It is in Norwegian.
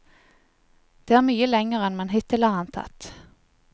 Det er mye lenger enn man hittil har antatt.